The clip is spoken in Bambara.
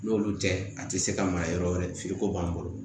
N'olu tɛ a tɛ se ka mara yɔrɔ wɛrɛ feereko b'an bolo